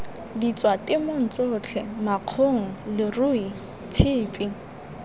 ditswatemong tsotlhe makgong leruo tshipi